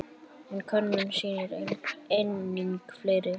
En könnunin sýnir einnig fleira.